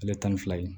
Ale tan ni fila ye